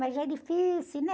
Mas é difícil, né?